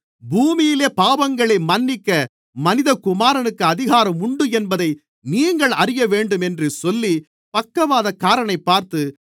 பூமியிலே பாவங்களை மன்னிக்க மனிதகுமாரனுக்கு அதிகாரம் உண்டு என்பதை நீங்கள் அறியவேண்டும் என்று சொல்லி பக்கவாதக்காரனைப் பார்த்து